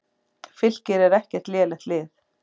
Fylkir er ekkert lélegt lið.